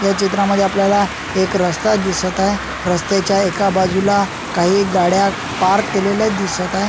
या चित्रामध्ये आपल्याला एक रस्ता दिसत आहे रस्त्याच्या एका बाजूला काही गाड्या पार्क केलेल्या दिसत आहे.